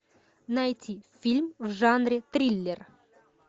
найти фильм в жанре триллер